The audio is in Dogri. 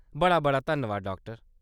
बड़ा बड़ा धन्नबाद, डाक्टर